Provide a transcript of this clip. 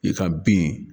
I ka bin